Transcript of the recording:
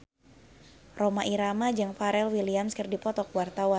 Rhoma Irama jeung Pharrell Williams keur dipoto ku wartawan